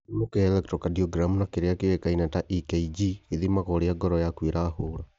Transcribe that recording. Gĩthimi gĩa electrocardiogram na kĩrĩa kĩũĩkaine ta EKG, gĩthimaga ũrĩa ngoro yaku ĩrahũra